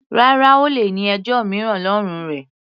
Rárá, O lè ní ẹjọ́ mìíràn lọ́rùn rẹ.